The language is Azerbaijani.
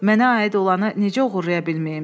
Mənə aid olanı necə oğurlaya bilməyim?